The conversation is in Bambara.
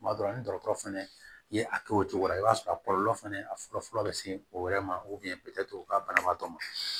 Tuma dɔ la ni dɔgɔtɔrɔ fɛnɛ ye a kɛ o cogo la i b'a sɔrɔ a kɔlɔlɔ fɛnɛ a fɔlɔ fɔlɔ bi se o yɛrɛ ma ka banabaatɔ ma